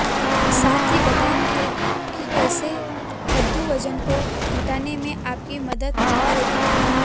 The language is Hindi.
साथ ही बताएंगे कि कैसे कद्दू वजन को घटाने में आपकी मदद करेगा